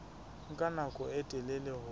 nka nako e telele ho